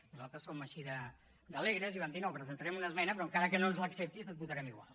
nosaltres som així d’alegres i vam dir no hi presentarem una esmena però encara que no ens l’acceptis et votarem igual